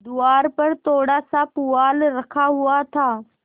द्वार पर थोड़ासा पुआल रखा हुआ था